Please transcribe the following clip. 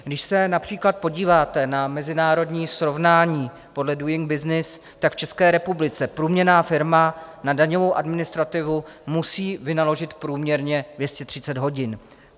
Když se například podíváte na mezinárodní srovnání podle Doing Business, tak v České republice průměrná firma na daňovou administrativu musí vynaložit průměrně 230 hodin.